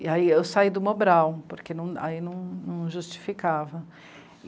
E aí eu saí do Mobral, porque aí não, não justificava.